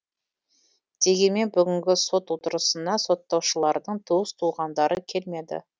дегенмен бүгінгі сот отырысына соттаушылардың туыс туғандары келмеді